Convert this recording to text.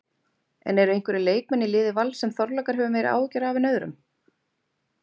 En eru einhverjir leikmenn í liði Vals sem Þorlákur hefur meiri áhyggjur af en öðrum?